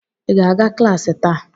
Ị ga-aga klaasị taa?